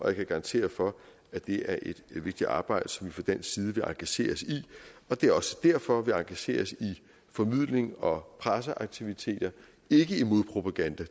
jeg kan garantere for at det er et vigtigt arbejde som vi fra dansk side vil engagere os i det er også derfor at vi engagerer os i formidling og presseaktiviteter ikke i modpropaganda